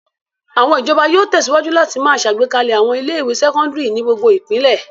Àwọn ìjọba yóò tẹ̀síwájú láti máa ṣàgbékalẹ̀ àwọn ilé-ìwé sẹ́kọ́ndárì ní gbogbo ìpínlẹ̀.